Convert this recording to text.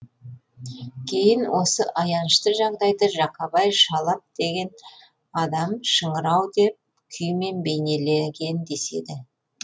кейін осы аянышты жағдайды жақабай шалап деген адам шыңырау деп күймен бейнелеген деседі